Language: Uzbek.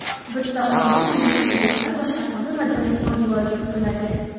Bizda oila milliy qadriyatlar va sharqona madaniyat poydevoriga quriladi.